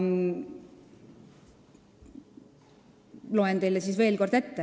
Loen teile siis veel kord ette.